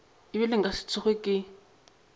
ebile nka se tsoge ke